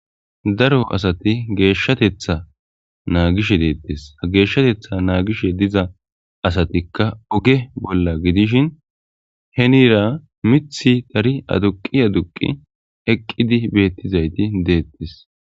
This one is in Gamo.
daro asati geeshshatetha naagishe deettes ha geeshshatetha naagishe diza asatikka oge bolla gidishin henira mithi tari aduqi aduqi eqqidi beettizayti deettes.